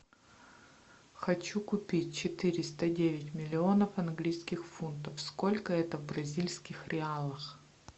хочу купить четыреста девять миллионов английских фунтов сколько это в бразильских реалах